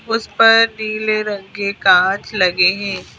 उस पर नीले रंग के कांच लगे हैं।